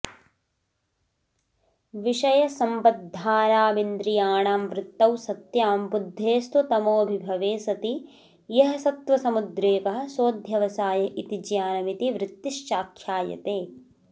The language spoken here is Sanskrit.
विषयसम्बद्धानामिन्द्रियाणां वृत्तौ सत्यां बुद्धेस्तु तमोभिभवे सति यः सत्त्वसमुद्रेकः सोऽध्यवसाय इति ज्ञानमिति वृत्तिश्चाख्यायते